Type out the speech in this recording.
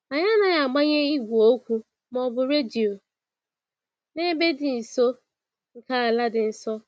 Anyị anaghị agbanye igwe okwu ma ọ bụ redio n'ebe dị nso nke ala dị nsọ.